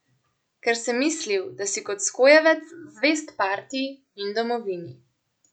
Ker sem mislil, da si kot skojevec zvest partiji in domovini!